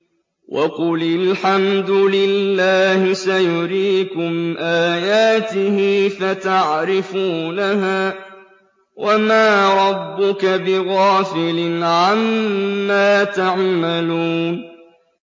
وَقُلِ الْحَمْدُ لِلَّهِ سَيُرِيكُمْ آيَاتِهِ فَتَعْرِفُونَهَا ۚ وَمَا رَبُّكَ بِغَافِلٍ عَمَّا تَعْمَلُونَ